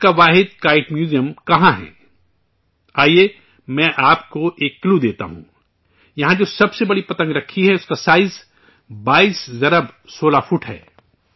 ملک کاواحد 'kite museum' کہاں ہے؟ آئیے میں آپ کو ایک کلیو دیتا ہوں یہاں جو سب سے بڑی پتنگ رکھی ہے، اس کا سائز 22 گنا 16 فٹ ہے